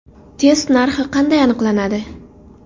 Test narxi qanday aniqlanadi?